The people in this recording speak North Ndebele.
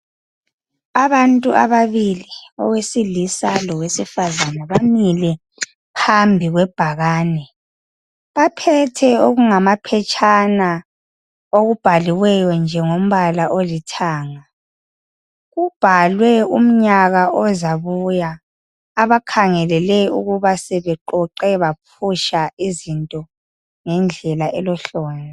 Abantu ababili owesilisa lowesifazane bamile phambi kwebhakane , baphethe okungamaphetshana okubhaliweyo nje ngombala olithanga , kubhalwe umnyaka ozabuya , abakhangelele ukuba sebeqoqe baphutsha izinto ngendlela elohlonzi